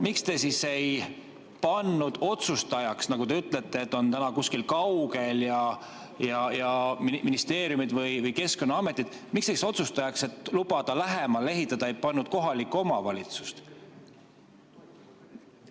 Miks te siis ei pannud otsustajaks, kui te ütlete, et täna on ta kuskil kaugel, ministeerium või Keskkonnaamet, miks te siis otsustajaks, et lubada lähemale ehitada, ei pannud kohalikku omavalitsust?